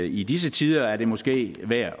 i disse tider er det måske værd